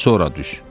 sonra düş.